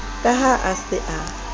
ka ha a se a